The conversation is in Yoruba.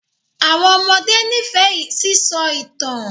Àwọn ọmọdé n'ifẹ sisọ itan.